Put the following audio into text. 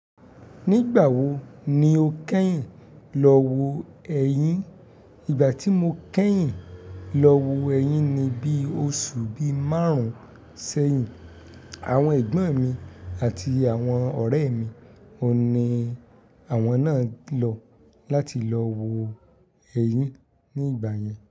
Nígbà wo ni o kẹ́yìn lọ wo ẹ̀yín? Ìgbà tí mo kẹ́yìn lọ wo ẹ̀yín ni bí oṣù bí márùn-ún sẹ́yìn. Àwọn ẹ̀gbọ́n mi àti àwọn ọ̀rẹ́ mi, òní àwọn náà lọ láti lọ wo ẹ̀yín ní ìgbà yẹn.